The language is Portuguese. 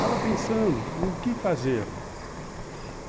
Estava pensando o que fazer.